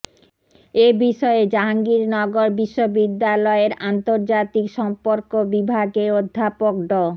এ বিষয়ে জাহাঙ্গীরনগর বিশ্ববিদ্যালয়ের আন্তর্জাতিক সম্পর্ক বিভাগের অধ্যাপক ড